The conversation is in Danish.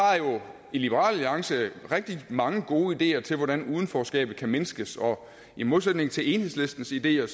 i liberal alliance rigtig mange gode ideer til hvordan udenforskabet kan mindskes og i modsætning til enhedslistens ideer